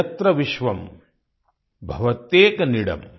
यत्र विश्वम भवत्येक नीडम्